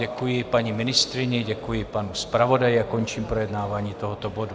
Děkuji paní ministryni, děkuji panu zpravodaji a končím projednávání tohoto bodu.